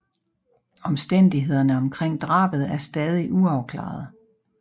Omstændighederne omkring drabet er stadigvæk uafklarede